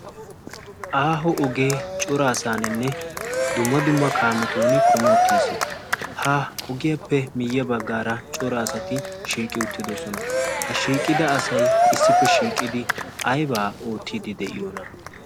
aaho ogee cora asaaninne dumma dumma kaametun kumi uttiis ha ogiyaappe miiyya baggaara cora asati shiiqi uttidosona ha shiiqida asay issippe shiiqidi aybaa oottiiddi de'iyoona